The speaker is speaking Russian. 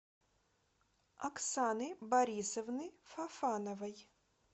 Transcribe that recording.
оксаны борисовны фофановой